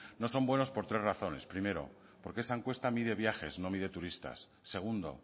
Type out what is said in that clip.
no son buenos por tres razones primero porque esa encuesta mide viajes no mide turistas segundo